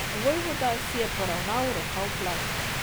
Vojvoda si je poravnal rokav plašča.